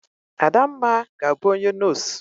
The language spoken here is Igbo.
Adamma ga-abu onye nos.